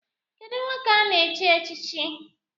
Kedụ nwoke ana-chi echichi?